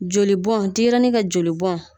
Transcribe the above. Jolibɔn denɲɛrɛnnin ka joli bɔn.